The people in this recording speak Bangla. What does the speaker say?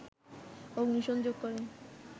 অগ্নি সংযোগ কর